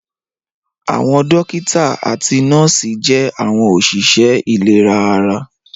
Àwọn dókítà àti nọ́ọ̀sì jẹ́ àwọn òṣìṣẹ́ ìlera ara